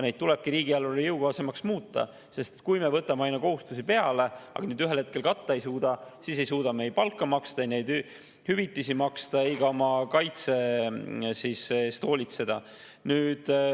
Neid tulebki riigieelarvele jõukohasemaks muuta, sest kui me võtame aina kohustusi peale, aga ühel hetkel neid katta ei suuda, siis ei suuda me ei palka maksta, hüvitisi maksta ega oma kaitse eest hoolitseda.